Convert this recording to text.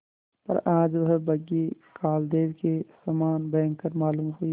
पर आज वह बग्घी कालदेव के समान भयंकर मालूम हुई